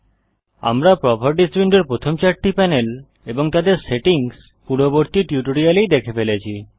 আমরা প্রোপার্টিস উইন্ডোর প্রথম চারটি প্যানেল এবং তাদের সেটিংস পূর্ববর্তী টিউটোরিয়ালেই দেখে ফেলেছি